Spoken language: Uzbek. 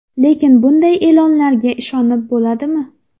Lekin bunday e’lonlarga ishonib bo‘ladimi?